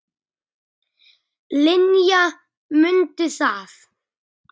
Linja, mundu það.